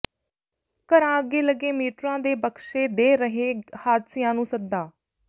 ਘਰਾਂ ਅੱਗੇ ਲੱਗੇ ਮੀਟਰਾਂ ਦੇ ਬਕਸੇ ਦੇ ਰਹੇ ਹਾਦਸਿਆਂ ਨੂੰ ਸੱਦਾ